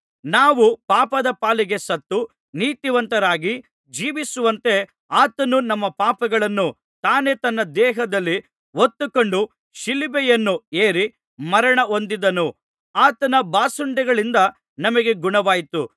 ನಾವು ಪಾಪದ ಪಾಲಿಗೆ ಸತ್ತು ನೀತಿವಂತರಾಗಿ ಜೀವಿಸುವಂತೆ ಆತನು ನಮ್ಮ ಪಾಪಗಳನ್ನು ತಾನೇ ತನ್ನ ದೇಹದಲ್ಲಿ ಹೊತ್ತುಕೊಂಡು ಶಿಲುಬೆಯನ್ನು ಏರಿ ಮರಣ ಹೊಂದಿದನು ಆತನ ಬಾಸುಂಡೆಗಳಿಂದ ನಮಗೆ ಗುಣವಾಯಿತು